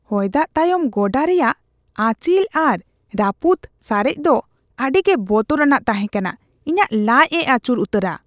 ᱦᱚᱭᱫᱟᱜ ᱛᱟᱭᱚᱢ ᱜᱚᱰᱟ ᱨᱮᱭᱟᱜ ᱟᱸᱪᱤᱞ ᱟᱨ ᱨᱟᱹᱯᱩᱫ ᱥᱟᱨᱮᱡ ᱫᱚ ᱟᱹᱰᱤᱜᱮ ᱵᱚᱛᱚᱨᱟᱱᱟᱜ ᱛᱟᱦᱮᱸ ᱠᱟᱱᱟ, ᱤᱧᱟᱹᱜ ᱞᱟᱪᱽ ᱮ ᱟᱹᱪᱩᱨ ᱩᱛᱟᱹᱨᱟ ᱾